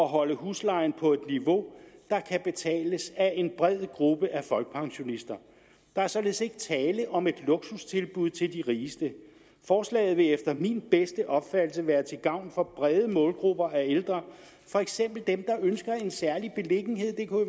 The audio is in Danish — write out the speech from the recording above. holde huslejen på et niveau der kan betales af en bred gruppe af folkepensionister der er således ikke tale om et luksustilbud til de rigeste forslaget vil efter min bedste opfattelse være til gavn for brede målgrupper af ældre for eksempel dem der ønsker en særlig af